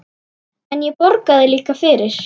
En ég borgaði líka fyrir.